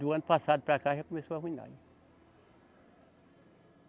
Do ano passado para cá já começou a arruinar.